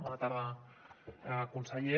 bona tarda conseller